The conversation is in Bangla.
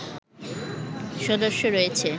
সদস্য রয়েছে